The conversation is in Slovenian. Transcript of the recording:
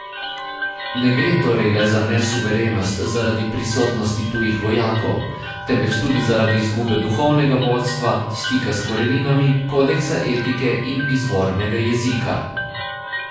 Ne gre torej le za nesuverenost zaradi prisotnosti tujih vojakov, temveč tudi zaradi izgube duhovnega vodstva, stika s koreninami, kodeksa etike in izvornega jezika.